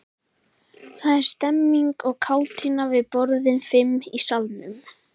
Það er stemmning og kátína við borðin fimm í salnum.